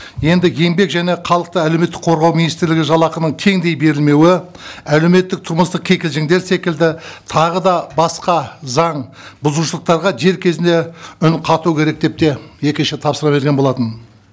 енді еңбек және халықты әлеуметтік қорғау министрлігі жалақының теңдей берілмеуі әлеуметтік тұрмыстық кекілжіндер секілді тағы да басқа заңбұзушылықтарға дер кезінде үн қату керек деп де екінші рет тапсырма берген болатын